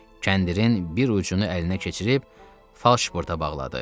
Kəndirin bir ucunu əlinə keçirib falşporta bağladı.